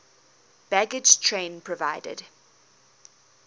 baggage train provided